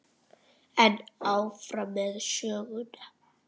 En áfram með söguna.